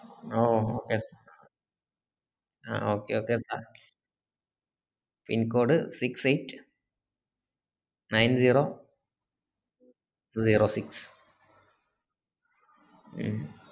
ആഹ് okay ah okay okay sir pincode six eight nine zero zero six ഉം